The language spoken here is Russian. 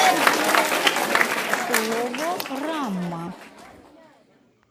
логорама